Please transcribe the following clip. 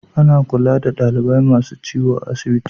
Ana kulla da dalibai masun ciwo a'asibiti.